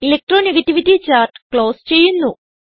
electro negativity chart close ചെയ്യുന്നു